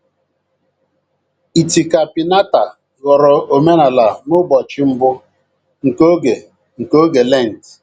Itika piñata ghọrọ omenala n’ụbọchị mbụ nke oge nke oge Lent.